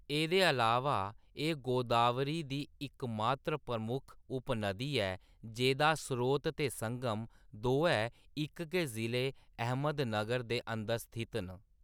एह्‌‌‌दे अलावा, एह्‌‌ गोदावरी दी इकमात्र प्रमुख उप-नदी ऐ जेह्‌दा स्रोत ते संगम दोऐ इक गै जिले-अहमदनगर दे अंदर स्थित न।